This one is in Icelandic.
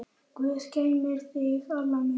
Guð geymi þig, Alla mín.